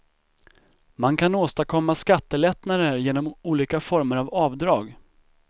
Man kan åstadkomma skattelättnader genom olika former av avdrag.